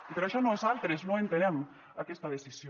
i per això nosaltres no entenem aquesta decisió